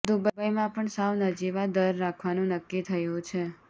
દુબઇમાં પણ સાવ નજીવા દર રાખવાનું નક્કી થયુ છે